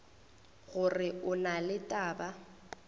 gore go na le taba